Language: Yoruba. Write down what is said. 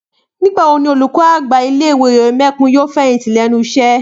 Nígbà wo ni olùkọ́ àgbà ilé ìwé Òyèmẹkùn yóò fẹ̀yìntì lẹ́nu iṣẹ́?